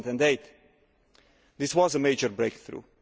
2008. This was a major breakthrough.